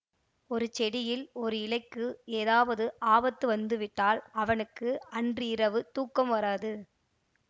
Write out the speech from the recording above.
ஒரு செடியில் ஒரு இலைக்கு ஏதாவது ஆபத்து வந்து விட்டால் அவனுக்கு அன்றிரவு தூக்கம் வராது